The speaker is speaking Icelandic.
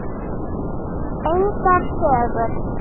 Engar sögur.